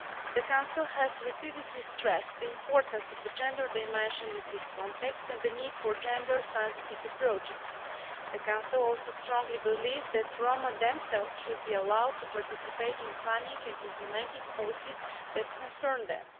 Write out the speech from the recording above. The Council has repeatedly stressed the importance of the gender dimension in this context and the need for gender sensitive approaches. The Council also strongly believes that the Roma themselves should be allowed to participate in planning and implementing policies that concern them.